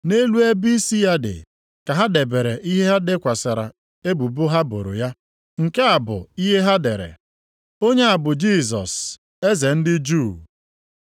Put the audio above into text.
Nʼelu ebe isi ya dị, ka ha debere ihe ha dekwasịrị ebubo ha boro ya. Nke a bụ ihe ha dere: Onye a bụ Jisọs, Eze ndị Juu.